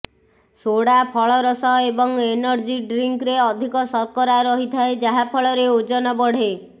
soda ଫଳରସ ଏବଂ energy ଡ୍ରିଙ୍କରେ ଅଧିକ ଶର୍କରା ରହିଥାଏ ଯାହାଫଳରେ ଓଜନ ବଢ଼େ